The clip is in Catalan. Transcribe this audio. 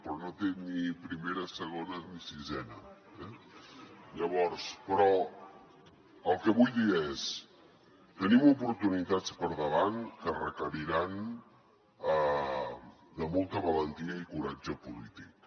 però no té ni primera ni segona ni sisena eh llavors però el que vull dir és tenim oportunitats per davant que requeriran molta valentia i coratge polític